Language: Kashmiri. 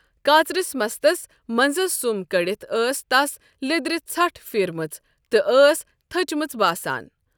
کاژرِس مستَس منٛزس سُم کٔڑِتھ ٲس تس لیٚدرِ ژھٹھ پھیٖرمٕژ تہٕ ٲس تٔھچمٕژ باسان ۔